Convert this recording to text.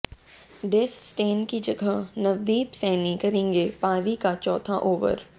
डेस Steyn की जगह नवदीप सैनी करेंगे पारी का चौथा ओवर